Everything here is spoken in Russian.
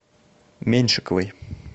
меньшиковой